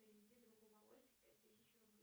переведи другу володьке пять тысяч рублей